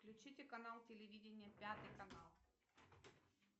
включите канал телевидения пятый канал